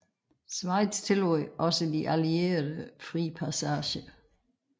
Schweiz tillod også de allierede fri passage